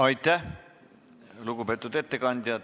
Aitäh, lugupeetud ettekandja!